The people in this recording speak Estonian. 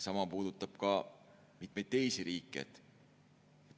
Sama puudutab ka mitmeid teisi riike.